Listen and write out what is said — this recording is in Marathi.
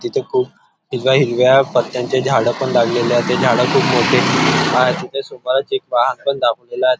तिथ खुप हिरव्या हिरव्या पत्त्यांचे झाड पण लागलेले आहे ते झाड खुप मोठे आहेत तिथे सुपाऱ्यांचं एक बाग पण दाखवलेली आहे.